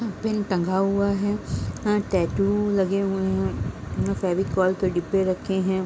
यहाँ पेन टांगा हुआ है | यहाँ टैटू लगे हुए हैं | यहाँ फेविकोल के डब्बे रखे हैं |